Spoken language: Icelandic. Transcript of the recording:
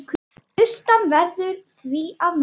Sturtan verður því að nægja.